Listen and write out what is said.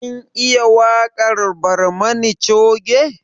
Kin iya waƙar barmani coge?